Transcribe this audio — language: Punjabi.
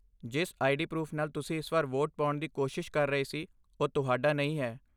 ਜਿਸ ਆਈਡੀ ਪਰੂਫ ਨਾਲ ਤੁਸੀਂ ਇਸ ਵਾਰ ਵੋਟ ਪਾਉਣ ਦੀ ਕੋਸ਼ਿਸ਼ ਕਰ ਰਹੇ ਸੀ, ਉਹ ਤੁਹਾਡਾ ਨਹੀਂ ਹੈ।